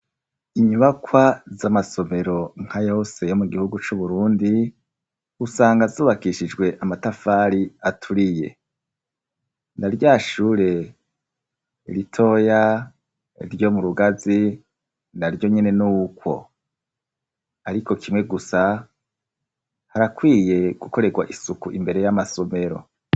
Inyubakwa z'amasomero nka yose yo mu gihugu c'uburundi usanga zubakishijwe amatafari aturiye naryashure ritoya ryo mu rugazi naryo nyene n'uwko ariko kimwe gusa harakwiye gukorerwa isuku imbere y'amasomero.